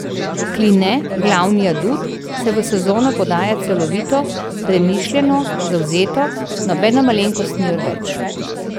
Kline, glavni adut, se v sezono podaja celovito, premišljeno, zavzeto, nobena malenkost ni odveč.